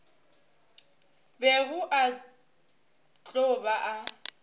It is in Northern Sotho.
bego a tlo ba a